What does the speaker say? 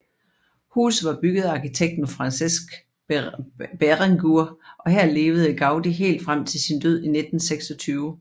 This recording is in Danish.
Huset var bygget af arkitekten Francesc Berenguer og her levede Gaudi helt frem til sin død i 1926